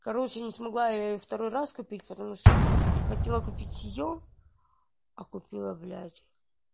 короче не смогла я её второй раз купить потому что хотела купить её а купила блять